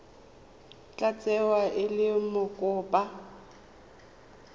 tla tsewa e le mokopa